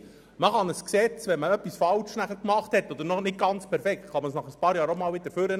Hat man bei einem Gesetz etwas falsch oder noch nicht ganz perfekt gemacht, kann man es nach ein paar Jahren wieder hervorholen.